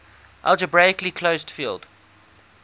algebraically closed field